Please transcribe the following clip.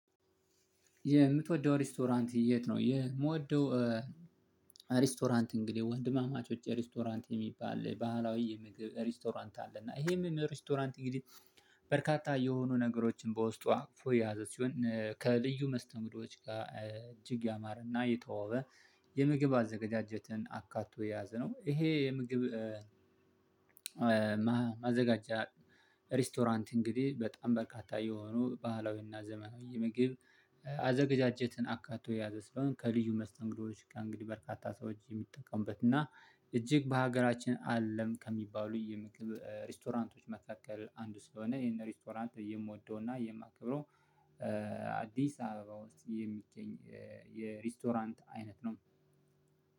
የምትወደው ሬስቶራንት የት ነው? የምወደው ሬስቶራንት እንግዲህ ወንድማማቾች ሬስቶራንት የሚባል ባህላዊ የምግብ ሬስቶራንት አለ እና ይሄም ሬስቶራንት እንግዲህ በርካታ የሆኑ ነገሮችን በውስጧ አቅፎ ያዘዝ ሲሆን ከልዩ መስተምዶች ጋር እጅግ ያማረና የተዋወበ አዘጋጀትን አካቶ የያዘ ነው። ይሄ የምግብ ማዘጋጀት ሬስቶራንት እንግዲህ በጣም በርካታ የሆኑ ባህላዊና ዘመናዊ ምግብ አዘገጃጀት አካቶ የያዘ ስለሆነ ከልዩ መስተንግዶዎች ጋር እንግዲህ በርካታ ሰዎች የሚጠቀሙበት እና እጅግ በሀገራችን አለም ከሚባሉ የምግብ ሬስቶራንቶች መካከል አንዱ ስለሆነ ይሄን ሬስቶራንት የምወደውና የማከብረው። አዲስ አበባ ውስጥ የሚገኝ የሬስቶራንት አይነት ነው።